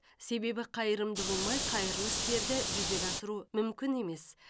себебі қайырымды болмай қайырлы істерді жүзеге асыру мүмкін емес